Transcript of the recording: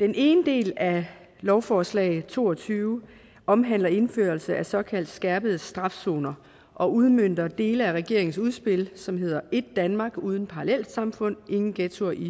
den ene del af lovforslag l to og tyve omhandler indførelse af såkaldte skærpet straf zoner og udmønter dele af regeringens udspil som hedder èt danmark uden parallelsamfund ingen ghettoer i